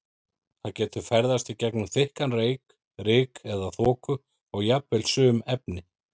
Það getur ferðast í gegnum þykkan reyk, ryk eða þoku og jafnvel sum efni.